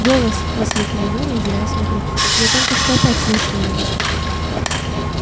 голос воскликнул гарри озираясь вокруг я только что опять слышал его